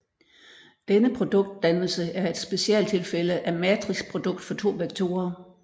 Denne produktdannelse er et specialtilfælde af matrixprodukt for to vektorer